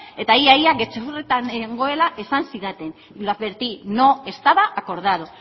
eta ia ia gezurretan nengoela esan zidaten lo advertí no estaba acordado